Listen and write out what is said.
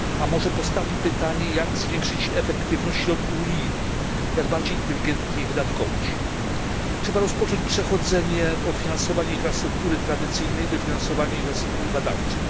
A może postawmy pytanie, jak zwiększyć efektywność środków unijnych, jak bardziej inteligentnie je wydatkować? Trzeba rozpocząć przechodzenie od finansowania infrastruktury tradycyjnej do finansowania infrastruktury badawczej.